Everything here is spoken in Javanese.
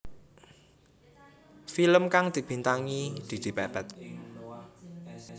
Film kang dibintangi Didi Petet